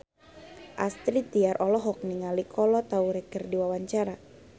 Astrid Tiar olohok ningali Kolo Taure keur diwawancara